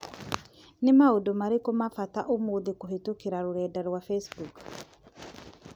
nĩ maũndũ marĩkũ ma bata ũmũthĩkũhītũkīra rũrenda rũa facebook